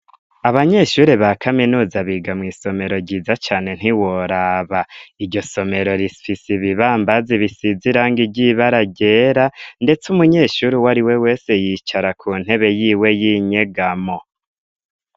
Abanyeshuri ba kaminuza biga mw'isomero ryiza cane ntiworaba, iryo somero rifise ibibambazi bisize irangi ry'ibara ryera, ndetse umunyeshuri uwariwe wese yicara ku ntebe yiwe y'inyegamo.